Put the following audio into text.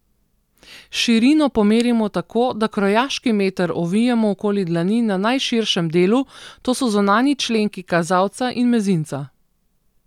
Širino pomerimo tako, da krojaški meter ovijemo okoli dlani na najširšem delu, to so zunanji členki kazalca in mezinca.